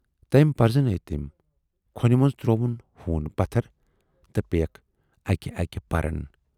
تٔمۍ پرزنٲوۍ تِم، کھۅنہِ منز ترووُن ہوٗن پتھر تہٕ پییکھ اکہِ اکہِ پَرن۔